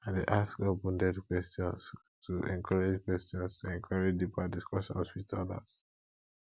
i dey ask openended questions to encourage questions to encourage deeper discussions with others